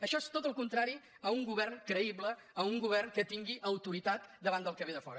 això és tot el contrari a un govern creïble a un govern que tingui autoritat davant del qui ve de fora